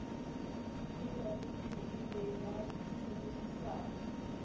ewp e be ba sebedisana